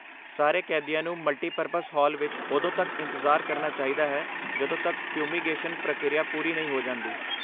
ਸਾਰੇ ਕੈਦੀਆਂ ਨੂੰ ਮਲਟੀਪਰਪਜ਼ ਹਾਲ ਵਿੱਚ ਉਦੋਂ ਤੱਕ ਇੰਤਜ਼ਾਰ ਕਰਨਾ ਚਾਹੀਦਾ ਹੈ ਜਦੋਂ ਤੱਕ ਫਿਊਮੀਗੇਸ਼ਨ ਪ੍ਰਕਿਰਿਆ ਪੂਰੀ ਨਹੀਂ ਹੋ ਜਾਂਦੀ।